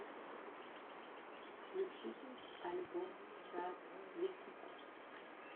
включить альбом час летить